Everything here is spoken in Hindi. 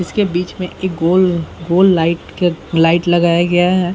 इसके बीच में एक गोल गोल लाइट क लाइट लगाया गया है।